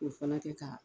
O fana kɛ ka